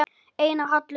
Einar Hallur.